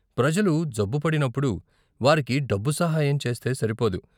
ప్రజలు జబ్బు పడినప్పుడు వారికి డబ్బు సహాయం చేస్తే సరిపోదు.